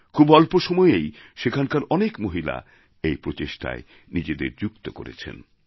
খুব অল্প সময়েই সেখানকার অনেক মহিলা এই প্রচেষ্টায় নিজেদের যুক্ত করেছেন